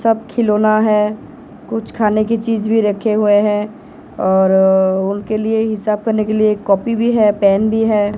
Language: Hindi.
सब खिलौना है कुछ खाने की चीज भी रखे हुए है और अह उनके लिए हिसाब करने के लिए कॉपी भी है पेन भी है।